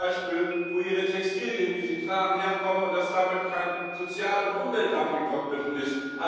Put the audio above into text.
wissen, wo ihre Textilien, die sie tragen, herkommen und dass damit kein Sozial und Umweltdumping verbunden ist.